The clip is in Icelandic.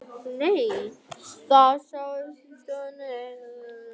Þau sátu í stofunni og drukku heitt súkkulaði.